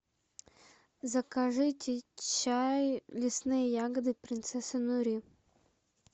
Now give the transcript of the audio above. закажите чай лесные ягоды принцесса нури